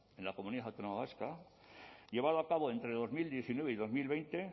en la comunidad autónoma vasca llevado a cabo entre dos mil diecinueve y dos mil veinte